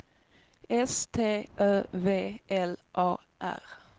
S T Ö V L A R